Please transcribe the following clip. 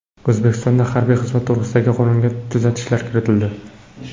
O‘zbekistonda harbiy xizmat to‘g‘risidagi qonunga tuzatishlar kiritildi.